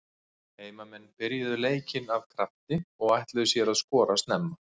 Heimamenn byrjuðu leikinn af krafti og ætluðu sér að skora snemma.